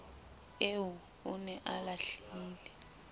eo o ne a lahlile